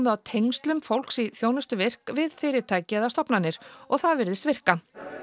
á tengslum fólks í þjónustu virk við fyrirtæki eða stofnanir og það virðist virka